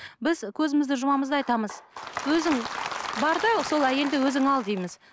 біз көзімізді жұмамыз да айтамыз өзің бар да сол әйелді өзің ал дейміз